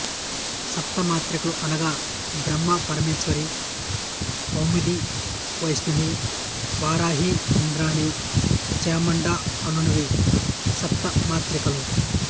సప్తమాత్రికలు అనగా బ్రహ్మ మాహేశ్వరి కౌముది వైష్ణవి వారాహి ఇంద్రాని చాముండ అనునవి సప్తమాత్రికలు